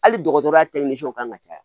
Hali dɔgɔtɔrɔya kan ka caya